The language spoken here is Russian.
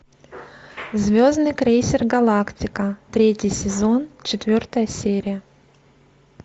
звездный крейсер галактика третий сезон четвертая серия